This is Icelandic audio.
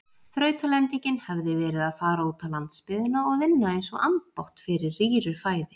Þrautalendingin hefði verið að fara útá landsbyggðina og vinna einsog ambátt fyrir rýru fæði.